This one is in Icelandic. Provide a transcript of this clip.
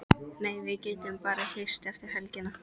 Nei, við getum bara hist eftir helgina.